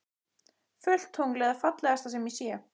Fullt tungl er það fallegasta sem ég sé.